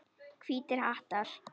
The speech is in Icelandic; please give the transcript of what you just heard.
Hvítir hattar.